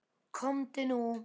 Komdu nú.